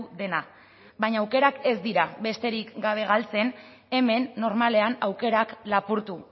dena baina aukerak ez dira besterik gabe galtzen hemen normalean aukerak lapurtu